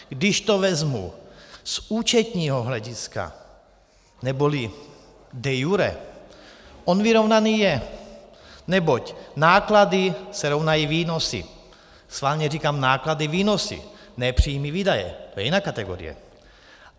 Když to vezmu z účetního hlediska, neboli de iure, on vyrovnaný je, neboť náklady se rovnají výnosy, schválně říkám náklady, výnosy, ne příjmy, výdaje, to je jiná kategorie.